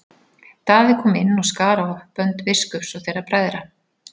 Daði kom inn og skar á bönd biskups og þeirra bræðra.